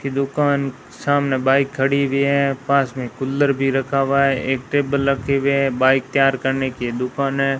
की दुकान सामने बाइक खड़ी हुई है पास में कुलर भी रखा हुआ है एक टेबल रखे हुए हैं बाइक तैयार करने की दुकान है।